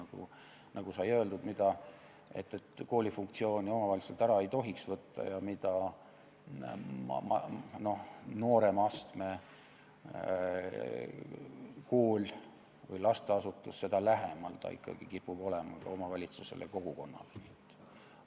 Kuid nagu sai öeldud, koolifunktsioone omavalitsuselt ära ei tohiks võtta ja mida noorema astme kool või lasteasutus, seda lähemal ta ikkagi omavalitsusele ja kogukonnale kipub olema.